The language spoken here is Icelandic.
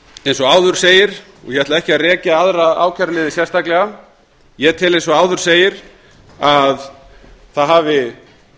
eins og áður segir og ég ætla ekki að rekja aðra ákæruliði sérstaklega ég tel eins og áður segir að það hafi